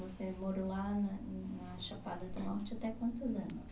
Você morou lá na na Chapada do Norte até quantos anos?